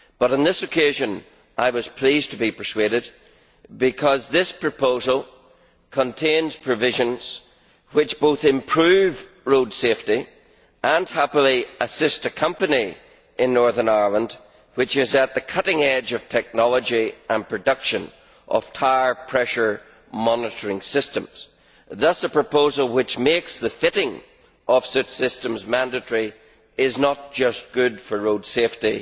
On this occasion, however, I was pleased to be persuaded, because this proposal contains provisions which both improve road safety and happily assist a company in Northern Ireland which is at the cutting edge of technology and production of tyre pressure monitoring systems. Thus a proposal which makes the fitting of such systems mandatory is not just good for road safety